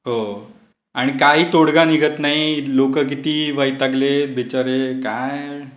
हो. आणि काही तोडगा निघत नाही. लोकं किती वैतागले बिचारे. काय!